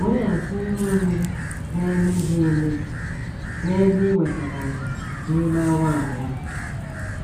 Weghachi ihe oriri na - emebi emebi n’ebe i wetara ya n’ime awa abụọ.